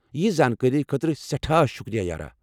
یییژِ زانٛکٲری خٲطرٕ سٮ۪ٹھاہ شُکریہ، یارا ۔